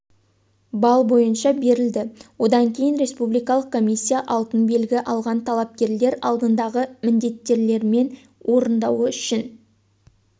балл бойынша берілді одан кейін республикалық комиссия алтын белгі алған талапкерлер алдындағы міндеттемелерін орындауы үшін